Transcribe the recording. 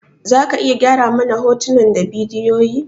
Za ka iya gyara mana hotunan da bidiyoyin?